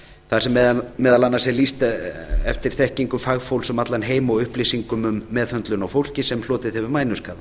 þar sem meðal annars er lýst eftir þekkingu fagfólks um allan heim og upplýsingum um meðhöndlun á fólki sem hlotið hefur mænuskaða